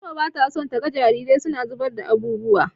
Fatima bata so taga jarirai suna zubar da abubuwa.